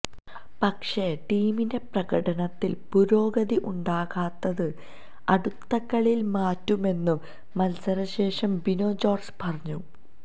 പക്ഷേ ടീമിന്റെ പ്രകടനത്തില് പുരോഗതി ഉണ്ടാകാത്തത് അടുത്ത കളിയില് മാറ്റുമെന്നും മത്സരശേഷം ബിനോ ജോര്ജ് പറഞ്ഞു